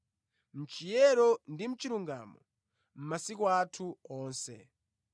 mʼchiyero ndi mʼchilungamo masiku athu onse.